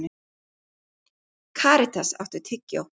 Karítas, áttu tyggjó?